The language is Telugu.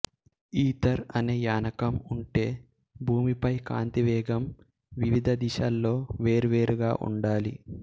ఈథర్ అనే యానకం ఉంటే భూమిపై కాంతి వేగం వివిధ దిశల్లో వేర్వేరుగా ఉండాలి